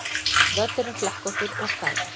Völlurinn flekkóttur og slæmur